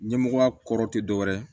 Ɲɛmɔgɔya kɔrɔ tɛ dɔ wɛrɛ ye